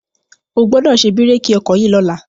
O gbọ́dọ̀ ṣe bírèkì ọkọ̀ yìí lọ́la.